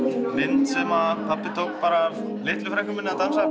mynd sem pabbi tók af litlu frænku minni að dansa